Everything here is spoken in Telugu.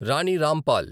రాని రాంపాల్